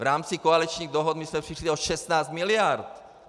V rámci koaličních dohod jsme přišli o 16 miliard.